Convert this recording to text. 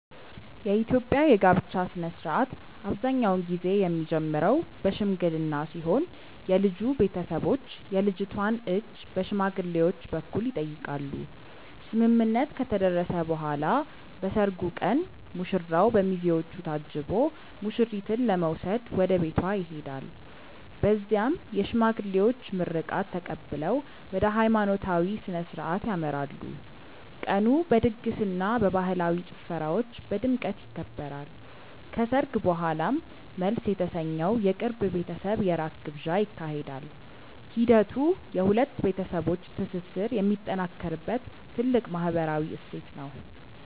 የኢትዮጵያ የጋብቻ ሥነ ሥርዓት አብዛኛውን ጊዜ የሚጀምረው በሽምግልና ሲሆን የልጁ ቤተሰቦች የልጅቷን እጅ በሽማግሌዎች በኩል ይጠይቃሉ። ስምምነት ከተደረሰ በኋላ በሰርጉ ቀን ሙሽራው በሚዜዎች ታጅቦ ሙሽሪትን ለመውሰድ ወደ ቤቷ ይሄዳል። በዚያም የሽማግሌዎች ምርቃት ተቀብለው ወደ ሃይማኖታዊ ሥነ ሥርዓት ያመራሉ። ቀኑ በድግስና በባህላዊ ጭፈራዎች በድምቀት ይከበራል። ከሰርግ በኋላም መልስ የተሰኘው የቅርብ ቤተሰብ የራት ግብዣ ይካሄዳል። ሂደቱ የሁለት ቤተሰቦች ትስስር የሚጠናከርበት ትልቅ ማህበራዊ እሴት ነው።